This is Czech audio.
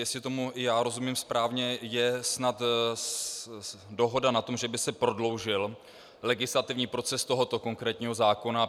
Jestli tomu i já rozumím správně, je snad dohoda na tom, že by se prodloužil legislativní proces tohoto konkrétního zákona.